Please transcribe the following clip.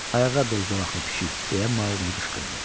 Ayağa dur zolaqlı pişik, deyə Maquli qışqırdı.